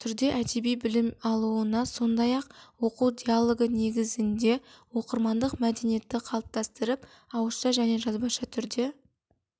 түрде әдеби білім алуына сондай-ақ оқу диалогі негізінде оқырмандық мәдениетті қалыптастырып ауызша және жазбаша түрде